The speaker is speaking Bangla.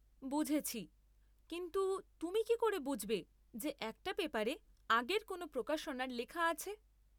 বুঝেছি! কিন্তু তুমি কী করে বুঝবে যে একটা পেপারে আগের কোনও প্রকাশনার লেখা আছে?